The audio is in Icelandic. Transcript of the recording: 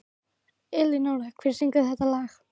Elínora, hver syngur þetta lag?